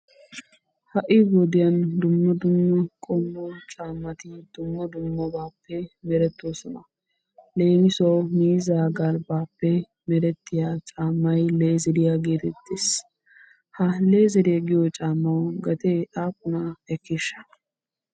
Ha'i wodiyan dumma dumma qommo caammati dumma dumma merettoosona. Leemissuwawu miizzaa galbbaappe meretiya caamay leezeriya gettettees. Ha leezeriya giyo caammawu gedee aappunaa ekkisha?